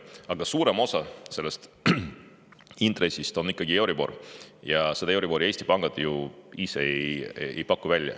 Aga suurem osa sellest intressist on ikkagi euribor ja seda euribori Eesti pangad ju ise välja ei paku.